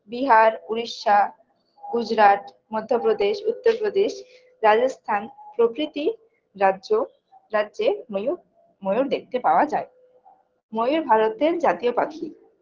বিহার উড়িষ্যা গুজরাট, মধ্যপ্রদেশ উত্তরপ্রদেশ রাজস্থান প্রভৃতি রাজ্য রাজ্যে ময়ূর ময়ূর দেখতে পাওয়া যায় ময়ূর ভারতের জাতীয় পাখি